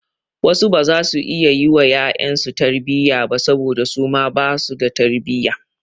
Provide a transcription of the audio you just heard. Wasu baza su iya yi wa ƴaƴansu su tarbiyya ba saboda su ma basu da tarbiyya.